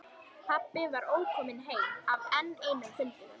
Pabbi var ókominn heim af enn einum fundinum.